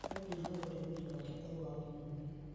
No nginya aũrore mwĩrĩ wake ũkorwo wa ũgima mwega